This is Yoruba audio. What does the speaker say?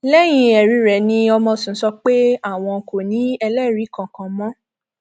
lẹyìn ẹrí rẹ ni ọmọsùn sọ pé àwọn kò ní ẹlẹrìí kankan mọ